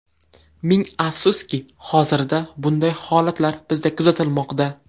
Ming afsuski, hozirda bunday holatlar bizda kuzatilmoqda.